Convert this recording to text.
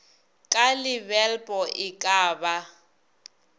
ka lebelpo e ka ba